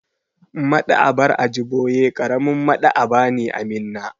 Maɗ'aba'ar Ajiboye ƙaramin Maɗ'aba'a ne a Minna.